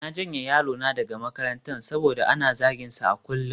Na janye yarona daga makarantar saboda ana zaginsa a kullum